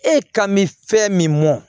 E kan bɛ fɛn min mɔn